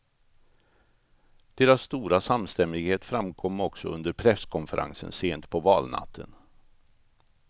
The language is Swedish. Deras stora samstämmighet framkom också under presskonferensen sent på valnatten.